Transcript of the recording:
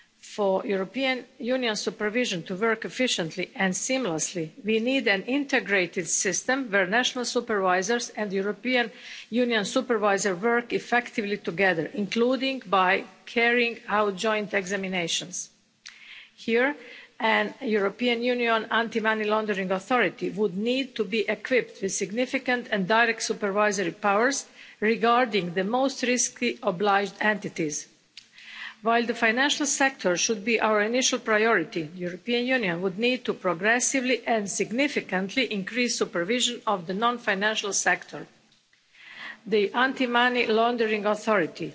For European Union supervision to work efficiently and seamlessly, we need an integrated system where national supervisors and the European Union Supervisor work effectively together, including by carrying out joint examinations here, and European Union anti money laundering authorities would need to be equipped with significant and direct supervisory powers regarding the most risky obliged entities. While the financial sector should be our initial priority, the European Union would need to progressively and significantly increase supervision of the non financial sector. The anti money laundering authority